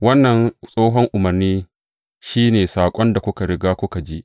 Wannan tsohon umarni shi ne saƙon da kuka riga kuka ji.